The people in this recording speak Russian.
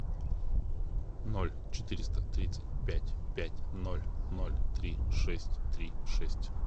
ноль четыреста тридцать пять пять ноль ноль три шесть три шесть